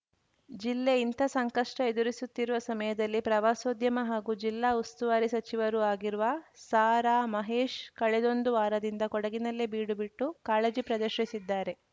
ಜಿಲ್ಲೆ ಇಂಥ ಸಂಕಷ್ಟಎದುರಿಸುತ್ತಿರುವ ಸಮಯದಲ್ಲಿ ಪ್ರವಾಸೋದ್ಯಮ ಹಾಗೂ ಜಿಲ್ಲಾ ಉಸ್ತುವಾರಿ ಸಚಿವರೂ ಆಗಿರುವ ಸಾರಾ ಮಹೇಶ್‌ ಕಳೆದೊಂದು ವಾರದಿಂದ ಕೊಡಗಿನಲ್ಲೇ ಬೀಡು ಬಿಟ್ಟು ಕಾಳಜಿ ಪ್ರದರ್ಶಿಸಿದ್ದಾರೆ